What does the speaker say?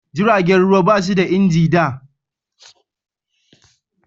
jiragen ruwa ba su da inji da